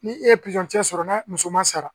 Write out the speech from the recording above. Ni e ye cɛ sɔrɔ n'a musoman sara